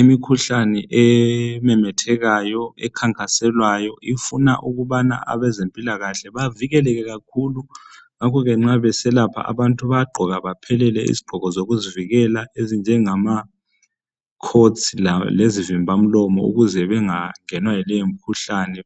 Imikhuhlane ememethekayo, ekhanyiselayo ifuna ukubana abezempilakahle bavikeleke kakhulu, ngakho ke nxa beselapha abantu bayagqoka baphelele izigqoko zokuzivikela ezinjengama coats lezivimba mlomo ukuze bengangenwa ngumkhuhlane.